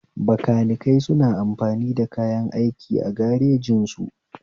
Bakanikai suna amfani da kayan aiki a garejin su